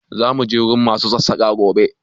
Za mu je wurin ma su Sassaƙa gobe